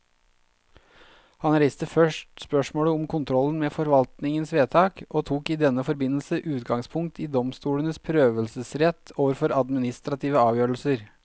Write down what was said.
Han reiste først spørsmålet om kontrollen med forvaltningens vedtak, og tok i denne forbindelse utgangspunkt i domstolenes prøvelsesrett overfor administrative avgjørelser.